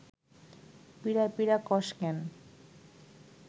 পিঁড়া পিঁড়া কস ক্যান